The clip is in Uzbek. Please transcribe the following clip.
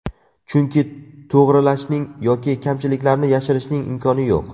Chunki to‘g‘rilashning yoki kamchiliklarni yashirishning imkoni yo‘q.